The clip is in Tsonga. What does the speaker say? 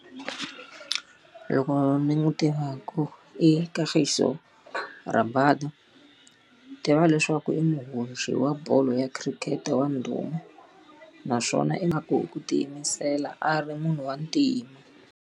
Loko ndzi n'wi tivaka i Kagiso Rabada. Ndzi tiva leswaku i muhoxi wa bolo ya cricket wa ndhuma, naswona i na ku ku tiyimisela a ri munhu wa ntima.